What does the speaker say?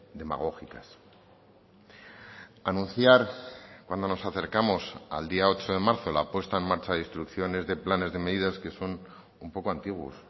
demagógicas anunciar cuando nos acercamos al día ocho de marzo la puesta en marcha de instrucciones de planes de medidas que son un poco antiguos